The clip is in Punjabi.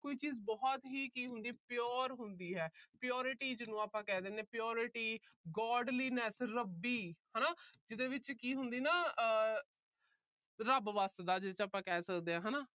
ਕੋਈ ਚੀਜ ਬਹੁਤ ਹੀ ਕੀ ਹੁੰਦੀ ਆ- pure ਹੁੰਦੀ ਹੈ। purity ਜਿਹਨੂੰ ਆਪਾ ਕਹਿ ਦਿੰਨੇ ਆ purity Godliness ਰੱਬੀ, ਜਿਹਦੇ ਵਿੱਚ ਕੀ ਹੁੰਦੀ ਆ ਨਾ ਆਹ ਰੱਬ ਵੱਸਦਾ ਜਿਹਦੇ ਵਿੱਚ ਆਪਾ ਕਹਿ ਸਕਦੇ ਆ।